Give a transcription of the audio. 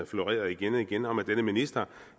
florerede igen og igen om at denne minister